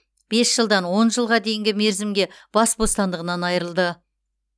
бес жылдан он жылға дейінгі мерзімдерге бас бостандығынан айырылды